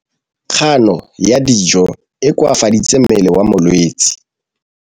Kganô ya go ja dijo e koafaditse mmele wa molwetse.